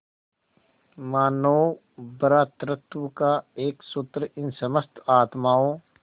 मानों भ्रातृत्व का एक सूत्र इन समस्त आत्माओं